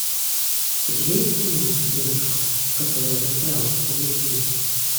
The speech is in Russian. у тебя есть кино девушка которая застряла в паутине